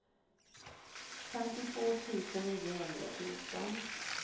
femtiotvå tusen niohundrafjorton